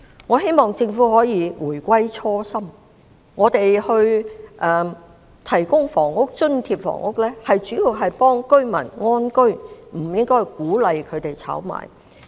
我希望政府可以回歸初心，政府提供津貼房屋的主要目的應是協助市民安居，而不是鼓勵他們炒賣。